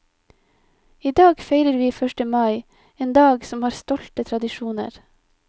Idag feirer vi første mai, en dag som har stolte tradisjoner.